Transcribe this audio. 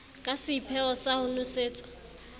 ka seipheo sa ho nosetsa